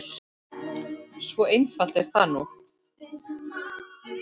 Svo einfalt er það nú.